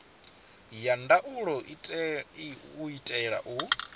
ya ndaulo u itela u